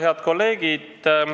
Head kolleegid!